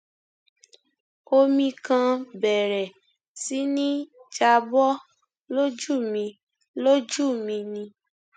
omi kan bẹrẹ sí ní já bọ lójú mi lójú mi ni